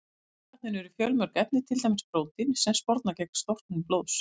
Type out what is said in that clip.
Í munnvatninu eru fjölmörg efni, til dæmis prótín sem sporna gegn storknun blóðs.